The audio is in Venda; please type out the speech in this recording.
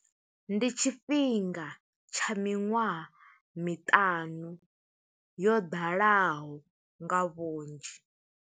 Ndi tshifhinga tsha miṅwaha miṱanu, yo ḓalaho nga vhunzhi.